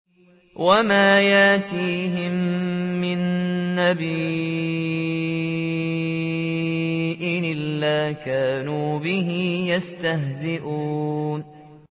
وَمَا يَأْتِيهِم مِّن نَّبِيٍّ إِلَّا كَانُوا بِهِ يَسْتَهْزِئُونَ